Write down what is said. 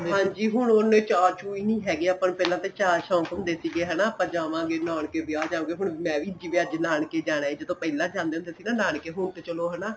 ਹਾਂਜੀ ਹੁਣ ਉਹਨੇ ਚਾਹ ਚੁਹ ਹੀ ਨਹੀਂ ਹੈਗੇ ਆਪਾਂ ਨੂੰ ਪਹਿਲੇ ਤਾਂ ਚਾਹ ਸ਼ੋਂਕ ਹੁੰਦੇ ਸੀਗੇ ਹਨਾ ਆਪਾਂ ਜਾਵਾਗੇ ਨਾਨਕੇ ਵਿਆਹ ਜਾਕੇ ਹੁਣ ਮੈਂ ਵੀ ਜਿਵੇਂ ਅੱਜ ਨਾਨਕੇ ਜਾਣਾ ਏ ਜਦੋਂ ਪਹਿਲਾਂ ਜਾਂਦੇ ਹੁੰਦੇ ਸੀ ਨਾ ਨਾਨਕੇ ਹੁਣ ਤੇ ਚਲੋਂ ਹਨਾ